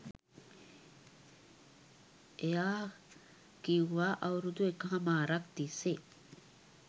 එයා කිව්වා අවුරුදු එකහාමාරක්‌ තිස්‌සේ